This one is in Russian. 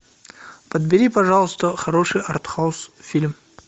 подбери пожалуйста хороший артхаус фильм